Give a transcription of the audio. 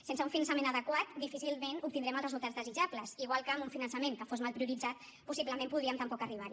sense un finançament adequat difícilment obtindrem els resultats desitjables igual que amb un finançament que fos mal prioritzat possiblement podríem tampoc arribar hi